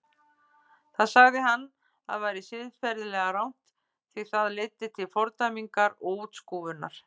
Það sagði hann að væri siðferðilega rangt því það leiddi til fordæmingar og útskúfunar.